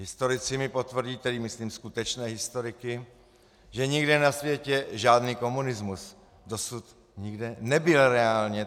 Historici mi potvrdí, tedy myslím skutečné historiky, že nikde na světě žádný komunismus dosud nikdy nebyl - reálně.